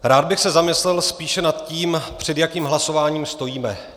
Rád bych se zamyslel spíše nad tím, před jakým hlasováním stojíme.